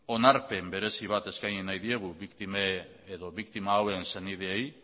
onarpen berezi bat eskaini nahi diegu biktima hauen senideei